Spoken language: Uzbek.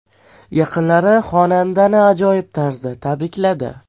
Yaqinlari xonandani ajoyib tarzda tabrikladi.